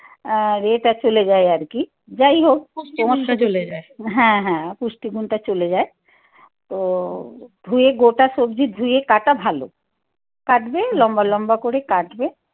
আর ইয়ে টা চলে যায় আর কি। যাই হোক। হ্যাঁ, হ্যাঁ। পুষ্টিগুণটা চলে যায়। তো, ধুয়ে গোটা সবজি ধুয়ে কাটা ভালো কাটবে, লম্বা লম্বা করে কাটবে।